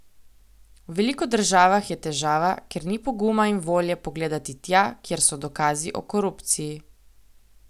V veliko državah je težava, ker ni poguma in volje pogledati tja, kjer so dokazi o korupciji.